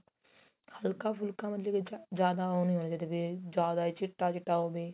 ਹਲਕਾ ਫੁਲਕਾ ਮਤਲਬ ਜਿਆਦਾ ਉਹ ਨਹੀਂ ਹੋਣਾ ਚਾਹੀਦਾ ਜਿਆਦਾ ਚਿੱਟਾ ਚਿੱਟਾ ਹੋਵੇ